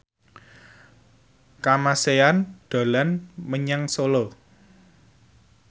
Kamasean dolan menyang Solo